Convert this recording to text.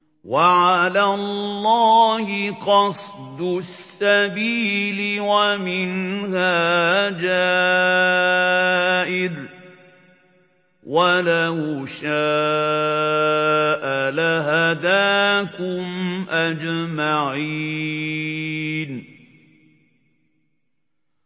وَعَلَى اللَّهِ قَصْدُ السَّبِيلِ وَمِنْهَا جَائِرٌ ۚ وَلَوْ شَاءَ لَهَدَاكُمْ أَجْمَعِينَ